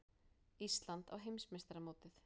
Ísland á heimsmeistaramótið